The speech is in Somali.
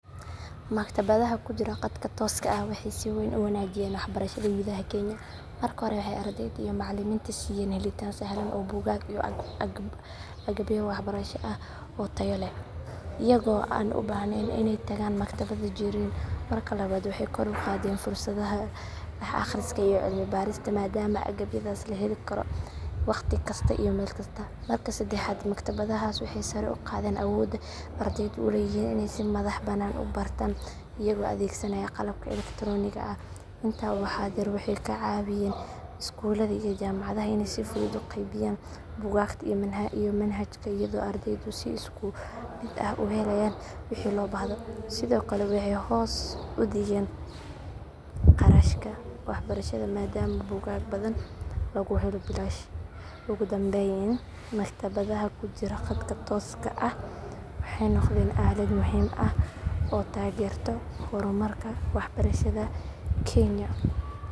Maktabadaha ku jira khadka tooska ah waxay si weyn u wanaajiyeen waxbarashada gudaha Kenya. Marka hore, waxay ardayda iyo macallimiinta siiyeen helitaan sahlan oo buugaag iyo agabyo waxbarasho ah oo tayo leh iyagoo aan u baahnayn inay tagaan maktabad jireed. Marka labaad, waxay kor u qaadeen fursadaha wax akhriska iyo cilmi baarista maadaama agabyadaas la heli karo wakhti kasta iyo meel kasta. Marka saddexaad, maktabadahaas waxay sare u qaadeen awoodda ardaydu u leeyihiin inay si madax bannaan u bartaan iyagoo adeegsanaya qalabka elektaroonigga ah. Intaa waxaa dheer, waxay ka caawiyeen iskuulada iyo jaamacadaha inay si fudud u qaybiyaan buugaagta iyo manhajka iyadoo ardaydu si isku mid ah u helayaan wixii loo baahdo. Sidoo kale, waxay hoos u dhigeen kharashka waxbarashada maadaama buugaag badan lagu helo bilaash. Ugu dambayn, maktabadaha ku jira khadka tooska ah waxay noqdeen aalad muhiim ah oo taageerta horumarka waxbarashada Kenya.